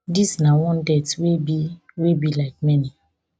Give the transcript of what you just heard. dis na one death wey be wey be like many